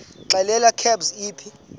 xelel kabs iphi